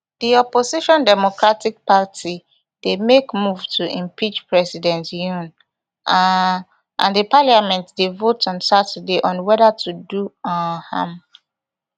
di opposition democratic party dey make move to impeach president yoon um and di parliament dey vote on saturday on whether to do um am